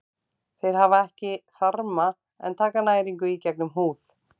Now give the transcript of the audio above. Þeir hafa ekki þarma en taka næringu í gegnum húð.